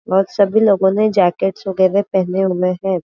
वे सभी लोगो ने जैकेट वगेरे पहने हुए है।